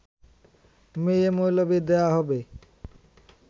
মেয়ে-মৌলবি দেওয়া হবে